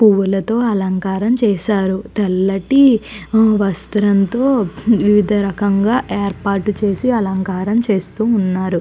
పువ్వులతో అలంకారం చేశారు తెల్లటి వస్త్రంతో వివిధ రకంగా ఏర్పాటు చేసి అలంకరణ చేస్తూ ఉన్నారు.